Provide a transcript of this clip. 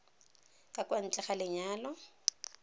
ka kwa ntle ga lenyalo